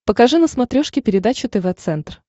покажи на смотрешке передачу тв центр